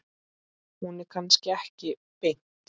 Hún er kannski ekki beint.